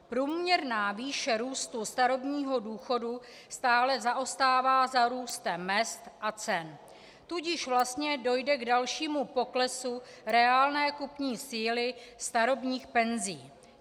Průměrná výše růstu starobního důchodu stále zaostává za růstem mezd a cen, tudíž vlastně dojde k dalšímu poklesu reálné kupní síly starobních penzí.